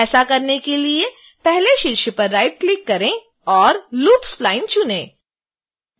ऐसा करने के लिए पहले शीर्ष पर राइटक्लिक करें और loop spline चुनें